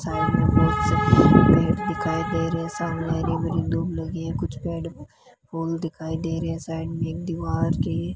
side में बहुत सारे पेड़ दिखाई दे रहे हैं सामने हरी भरी दूब लगी है कुछ पेड़ फूल दिखाई दे रहे हैं साइड में एक दीवार के --